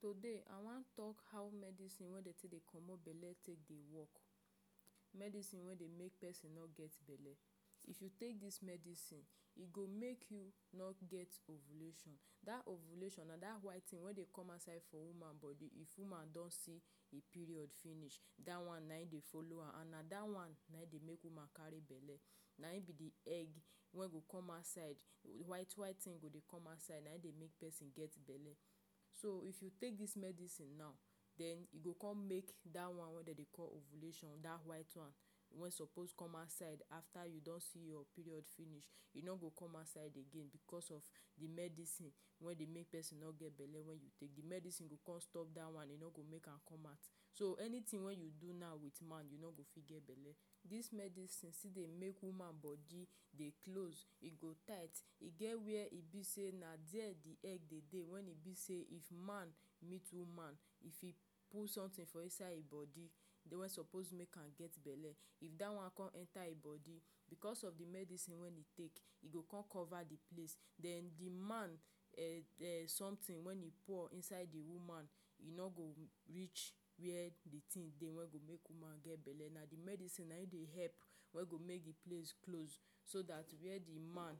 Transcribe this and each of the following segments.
Today i wan talk how medicine wey dem take dey comot bele dey work, medicine wey dey make person no get belle if you take this medicine e go make you not get ovulation that ovulation na that white thing wey dey come outside for woman body if woman don see e period finish dat one na hin dey follow am and na that one na em dey make woman carry bele na im be de egg wey go come outside white white thing go dey come outside na im dey make person get bele so if you take this medicine now den e go come make that one wey dem dey call ovulation that white one suppose come outside after you don see your period finish e no go come outside again because of dey de medicine wey de make person no get belle wey wen you take de medicine go come stop that one dem no go make am come out so anything wey you do now with man you no fit get belle this medicine still dey make woman body dey close e go tight e geh where e be sey na dere de egg dey dey wen e be sey if man meet woman if he put something inside him body dey wey suppose make am get belle if dat one come enter e body because of de medicine wey e take e go come cover de place den de man[um]something wen e pure inside de woman e no go reach where de thing dey wey go make de make woman get belle na de medicine na em dey help wey go make de place close so dat where de man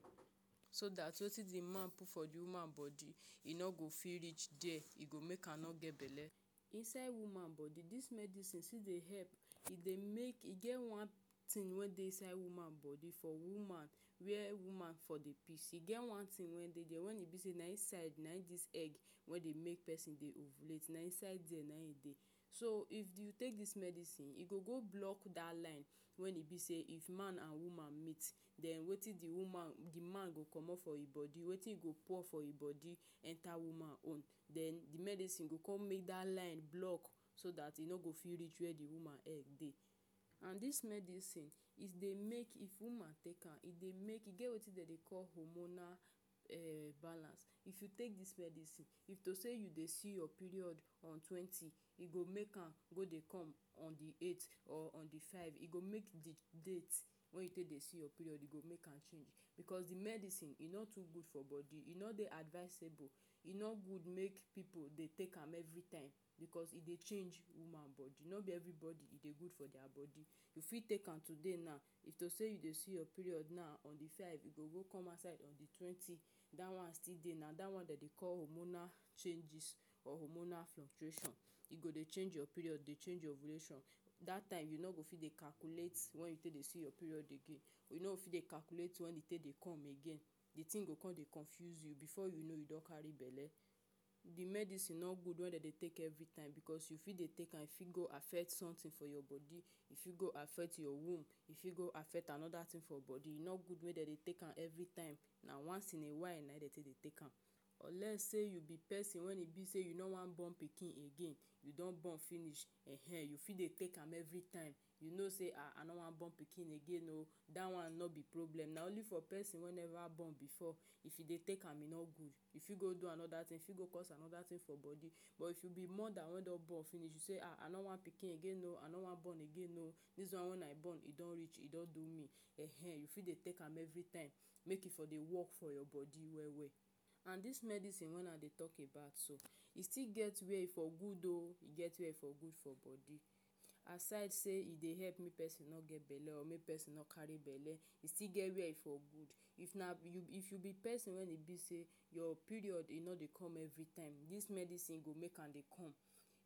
so that wetin de man put for de woman body e no go fit reach dere e go make am no get belle inside woman body this medicine still dey help e dey make e get one thing wey dey inside woman body for woman were woman for di piece e get one thing wey dey dere when e be sey na inside naim this egg wey dey make person dey ovulate na inside dey na him dey so if take medicine e go go block that line when e be sey if man and meet den wetin de woman de man go comot for e body wetin you go pour for hin body enter woman own den de medicine go come make that line block so that e no go fit reach where de woman egg dey and dis medicine is dey make if de woman take am e dey make e get wetin de dey call [um]homonal balance if you take this medicine if to sey you dey see your period on TWENTY e go make am go dey come on de EIGHT or on de FIVE e go make de date wen you take dey see your period e go make am change because de medicine e no too good for body e no dey advicable e no good make pipu dey take am every time because e dey change woman body no be everybody e dey good for deir body you fit take am today naw if to sey you dey see your period now on de side go come outside on de TWENTY dat one still dey na dat one dem dey call hormonal change or hormonal filtration e go dey change your period dey change your ovulation that time you no go fit dey calculate when you take dey see your period again we no fit dey calculate wen e dey come again dey thing come dey confuse you before you know you don carry bele de medicine no good wen dem dey take every time because you fit dey take am fit go affect something for your body e fit go affect your womb e fit go affect anoder thing for body e no good wey dem dey take am every time na once in a while na him take dey take am unless sey you be person when e be sey you no wan born pikin again e don burn finish ehen you fit dey take am every time you know sey i no wan born pikin again o dat one no be problem na only for person wey never born before if you dey take am e no good e fih go do anoder thing go cause anoder thing for body but if you be moda wey don born finish again o i no wan born again o this one wey una burn e don reach e don do me dis one e don reach e don do me ehen e fit dey take am every time make it for de work for your body well, well and this medicine wey una dey talk about so it still get wey for good o it get wey for good for body aside sey I dey help me person no get belle or make person no carry belle still get where for good if na if you be for person wen e be sey your period e no dey come this medicine go make am dey come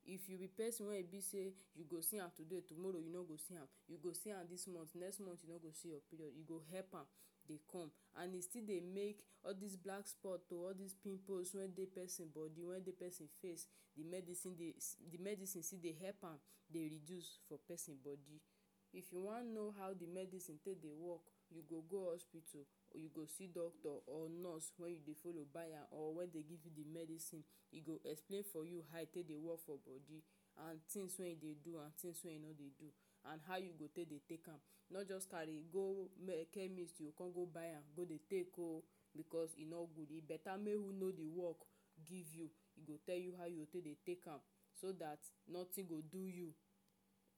if you be person wey e be sey you go see am today tomorrow you no go see am you go see am this month next month e no go see your period e go help am dey come and e still dey make all dese black spot o all dese pimples wey dey person body wey dey person face e medicine dey de medicine still dey help am dey reduce for person body if you wan know how de medicine take dey work you go go hospital you go see doctor or nurse wen you de follow buy am or wen e dey give you de medicine e go explain for you how e take dey work for body and things wey e dey do am things wey e no dey do and how you go take dey take am no just carry um go chemist you come go buy am go dey take o because e no good e better make e who no de know de work give you e go tell you how you go take am so that nothing go do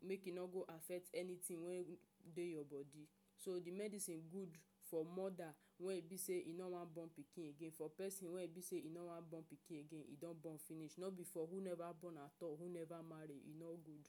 make e no go affect anytin wey dey your body so de medicine good for moder wen e be sey e no wan burn pikin again for person wey e be sey him no wan burn pikin again e don burn finish no be for who never burn attal who never marry e no good